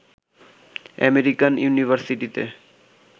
American ইউনিভারসিটিতে